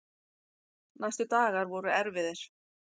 Næstu dagar voru erfiðir.